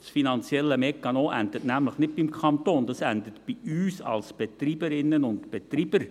Der finanzielle Mechanismus endet nämlich nicht beim Kanton, er endet bei uns als Betreiberinnen und Betreiber.